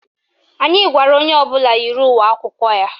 Anyị gwara onye ọbụla yiri uwe akwụkwọ ya.